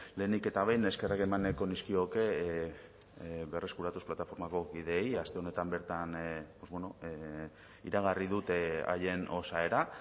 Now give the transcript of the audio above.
lehenik eta behin eskerrak eman nahiko nizkioke berreskuratuz plataformako kideei aste honetan bertan iragarri dute haien osaera